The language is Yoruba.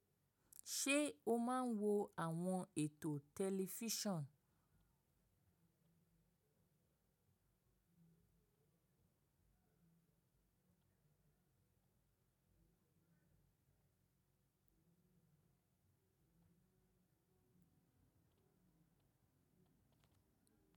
Ṣe o máa ń wo àwọn ètò tẹlifísàn?